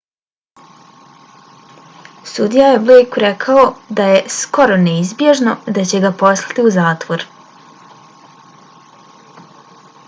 sudija je blejku rekao da je skoro neizbježno da će ga poslati u zatvor